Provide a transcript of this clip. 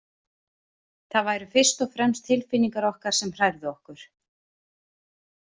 Það væru fyrst og fremst tilfinningar okkar sem hrærðu okkur.